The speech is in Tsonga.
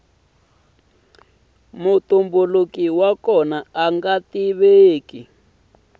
mutumbuluki wa kona anga tiveki